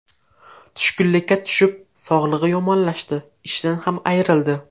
Tushkunlikka tushib, sog‘lig‘i yomonlashdi, ishidan ham ayrildi.